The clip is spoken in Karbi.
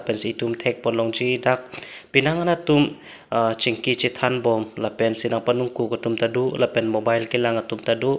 pensi etum thekpon longji dak penang an atum ah chingki chethan bom lapensi nang panung kuk atum ta do lapen mobile kelang atum ta do.